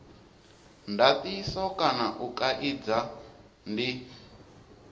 ndatiso kana u kaidza ndi